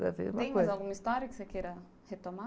Toda vez uma coisa.em mais alguma história que você queira retomar?